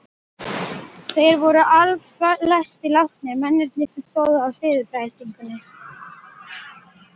Þeir voru allflestir látnir, mennirnir sem stóðu að siðbreytingunni.